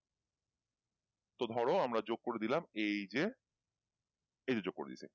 তো ধরো আমরা যোক করে দিলাম এইযে এইযে যোক করে দিয়েছি